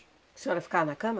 Que a senhora ficava na cama?